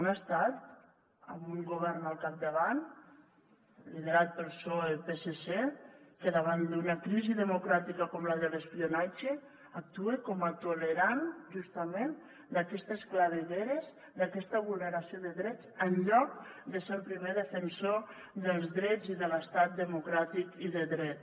un estat amb un govern al capdavant liderat pel psoe psc que davant d’una crisi democràtica com la de l’espionatge actua com a tolerant justament d’aquestes clavegueres d’aquesta vulneració de drets en lloc de ser el primer defensor dels drets i de l’estat democràtic i de dret